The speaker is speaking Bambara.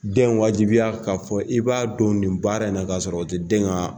Den wajibiya k'a fɔ i b'a don nin baara in na k'a sɔrɔ o tɛ den na